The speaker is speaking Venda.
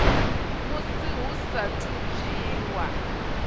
musi hu saathu u dzhiwa